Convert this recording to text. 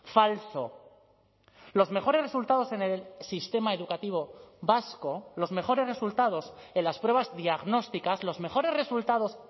falso los mejores resultados en el sistema educativo vasco los mejores resultados en las pruebas diagnósticas los mejores resultados